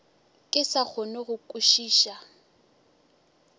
ke sa kgone go kwešiša